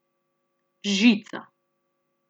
Žica.